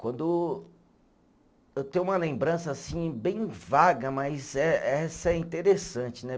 Quando, eu tenho uma lembrança, assim, bem vaga, mas eh, essa é interessante, né?